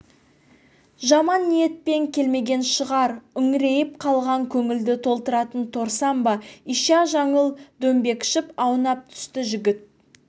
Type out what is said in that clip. жаман ниетпен келмеген шығар үңірейіп қалған көңілді толтыратын торсан ба ища жаңыл дөңбекшіп аунап түсті жігіт